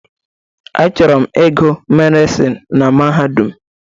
Achọrọ m ịgụ Medịsinu na Mahadum.